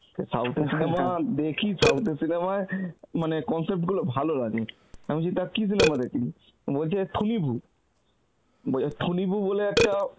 south এর cinema দেখি south এর cinema য় মানে concept গুলো ভালো লাগে. আমি বলছি তা কী cinema দেখলি? ও বলছে , বলছে বলে একটা